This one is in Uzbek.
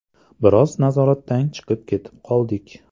Biroz nazoratdan chiqib ketib qoldik.